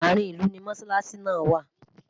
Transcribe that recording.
àárín ilú ní mosalasi nà wà